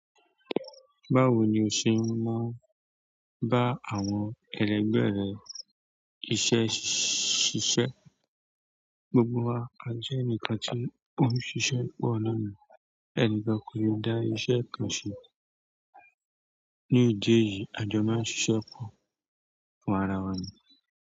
Báwo ni o ṣe máa ń bá àwọn ẹlẹgbẹ́ rẹ iṣẹ́ ṣíṣe? Gbogbo wa a jẹ́ ẹnìkan tí ó ń ṣiṣẹ́ pọ̀ naani, ẹni kan kò lè dá iṣẹ́ kan ṣe. Ní ìdí èyí, a jọ máa ń ṣiṣẹ́ pọ̀ fún ara wa nì.